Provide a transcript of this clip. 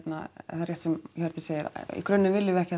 rétt sem Hjördís segir í grunninn viljum við ekki